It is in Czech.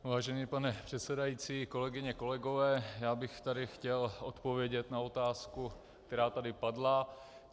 Vážený pane předsedající, kolegyně, kolegové, já bych tady chtěl odpovědět na otázku, která tady padla.